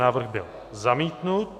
Návrh byl zamítnut.